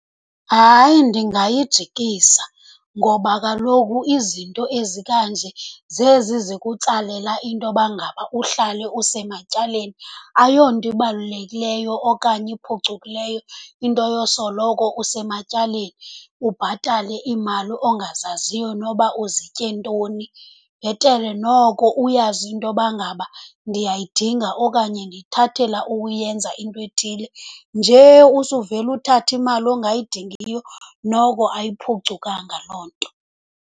Hayi, ndingayijikisa ngoba kaloku izinto ezikanje zezi zikutsalela intoba ngaba uhlale usematyaleni. Ayonto ibalulekileyo okanye iphucukileyo into yosoloko usematyaleni, ubhatale iimali ongazaziyo noba uzitye ntoni. Bhetele noko uyazi intoba ngaba ndiyayidinga okanye ndiyithathela ukuyenza into ethile. Nje usuvele uthathe imali ongayidingiyo, noko ayiphucukanga loo nto.